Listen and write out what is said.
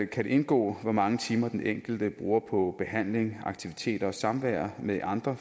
kan det indgå hvor mange timer den enkelte bruger på behandling aktiviteter og samvær med andre